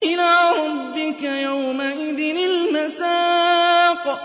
إِلَىٰ رَبِّكَ يَوْمَئِذٍ الْمَسَاقُ